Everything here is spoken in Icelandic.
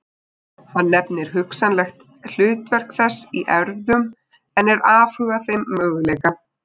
Hann nefnir hugsanlegt hlutverk þess í erfðum en er afhuga þeim möguleika.